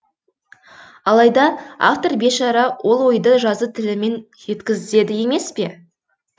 алайда автор бейшара ол ойды жазу тілімен жеткізеді емес пе